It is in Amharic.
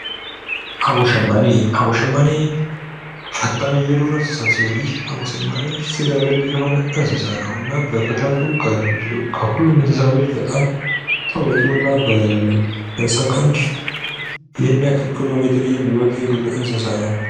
አቦሸማኔ አቦሸማኔ ፈጣን የዱር እንስሳ ሲሆን አቦሸማኔ ስጋበል ሲሆን እንስሳ ነው በፍጥረቱ በጣም ታዋቂው በሰከንድ ይኸን ያኽል ኪሎሜትር የሚሮጥ የዱር እንስሳ ነው።